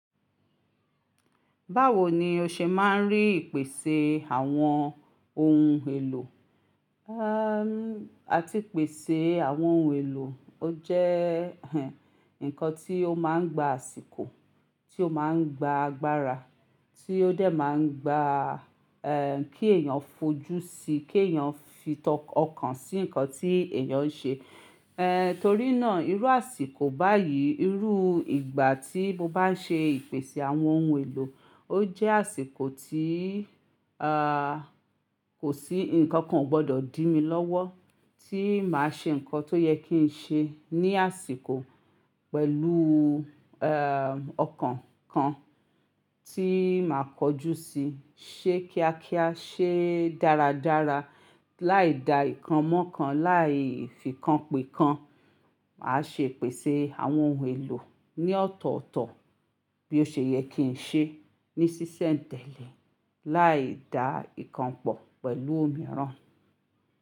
Báwo ni o ṣe máa ń rí ìpèsè àwọn ohun èlò? À ti pèsè àwọn ohun èlò. Ó jẹ́ nǹkan tí ó máa ń gba àsìkò, tí ó máa ń gba agbára, tí ó dé máa ń gba kí èèyàn fojú sí i, kí èèyàn fi tó ọkàn sí nǹkan tí èèyàn ń ṣe. Torí náà, irú àsìkò báyìí, irú ìgbà tí mo bá ń ṣe ìpèsè àwọn oun èlò, ó jẹ́ àsìkò tí kò sí, ǹkan kan ò gbọdọ̀ dí mi lọ́wọ́ tí màá ṣe ǹkan tó yẹ kí n ṣe ní àsìkò pẹ̀lú ọkàn kan tí màá kọjú sí i. Ṣe kíákíá, ṣe dáradára, láì da ǹkan mọ́ ǹkan, láì fìkànpe kan. Màá ṣe pèsè àwọn ohun èlò ní ọ̀tọ̀ọ̀tọ̀ bí ó ṣe yẹ kí n ṣe ní ṣíṣẹ̀ ń tẹ̀lé, láì da ìkànpọ̀ pẹ̀lú mìíràn.